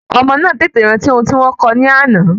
Ọmọ náà tètè rántí oun tí wọ́n kó o ní àná